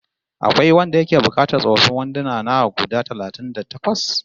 Akwai wanda yake buƙatar tsofaffin wanduna na guda talatin da takwas?